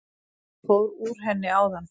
Ég fór úr henni áðan.